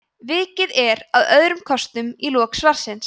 vikið er að öðrum kostum í lok svarsins